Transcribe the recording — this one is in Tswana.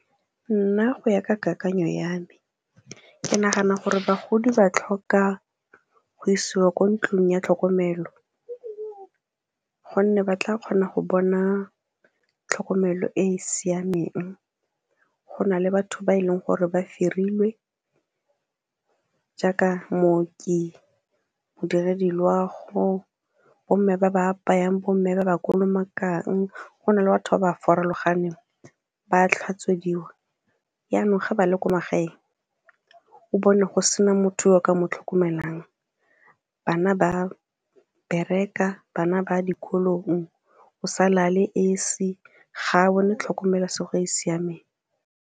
Nna go ya ka kakanyo ya me ke nagana gore bagodi ba tlhoka go isiwa ko ntlong ya tlhokomelo, gonne ba tla kgona go bona tlhokomelo e e siameng go na le batho ba e leng gore ba hirilwe jaaka mmoki, modiredi loago, bomme ba ba apayang, bomme ba ba kolomakang, gona le batho ba ba farologaneng ba tlhotswediwa. Janong ga ba le ko magaeng o bone go sena motho yo o ka mo tlhokomelang bana ba bereka, bana ba dikolong, o sa la a le esi, ga a bone tlhokomelesego e e siameng.